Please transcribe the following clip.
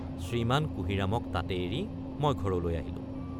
শ্ৰীমান কুঁহিৰামক তাতে এৰি মই ঘৰলৈ আহিলোঁ।